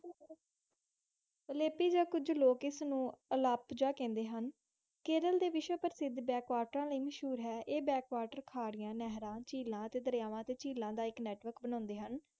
ਅਲਾਪੇ ਜਾ ਕੁਜ ਲੋਕ ਇਸ ਨੂੰ ਆਲਾਪਤ ਖੜੇ ਹਨ, ਕੇਰਲ ਡੇ ਵਿਸ਼ਵ ਪ੍ਰਸਿੱਧ ਬੈੱਕਵਾਤਾ ਲਾਇ ਮਸਹੂਰ ਹਾਂ ਇਹ ਬੈੱਕਵਾਦ ਕਰਿ ਨਹਿਰ ਚੇਲਾ, ਦਰਵਾ ਦਾ ਇਕ ਨੇਤ ਵਰਕ ਬਣਦੇ ਹਨ